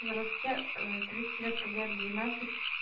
здравствуйте тридцать лет победы двенадцать